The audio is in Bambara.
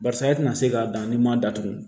Barisa e tɛna se k'a dan ni m'a datugu